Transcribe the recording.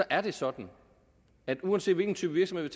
er det sådan at uanset hvilken type virksomhed